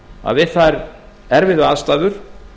að við þær erfiðu aðstæður